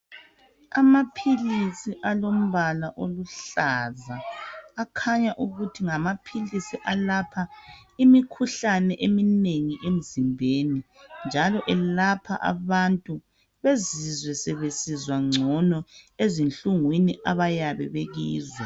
Amaphilisi alombala oluhlaza akhanya ukuthi ngamapilis ayelapha imikhuhlane eminengi emzimbeni njalo elapha abantu bazizwe sebesizwa ngcono ezinhlungwini abayabe bekizo.